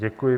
Děkuji.